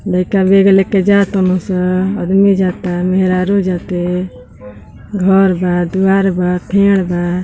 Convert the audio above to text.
लईका बेग लेके जा तन स। अदमी जाता। मेहरारू जाते। घर बा दुआर बा फेड़ बा।